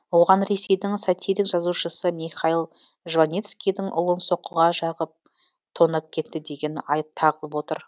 оған ресейдің сатирик жазушысы михаил жванецкийдің ұлын соққыға жағып тонап кетті деген айып тағылып отыр